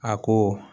A ko